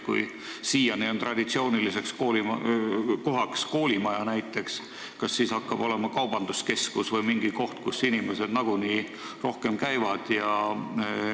Kui siiani on traditsiooniliseks valimise kohaks olnud näiteks koolimaja, kas siis nüüd saab selleks kaubanduskeskus või mingi koht, kus inimesed nagunii rohkem käivad?